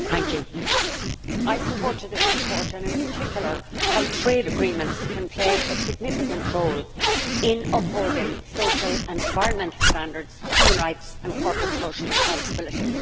Mr President, I supported this report and, in particular, how trade agreements can play a significant role in upholding social and environmental standards, human rights and corporate social responsibility.